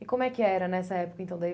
E como é que era nessa época? Então daí